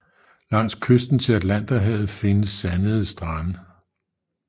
Langs kysten til Atlanterhavet findes sandede strande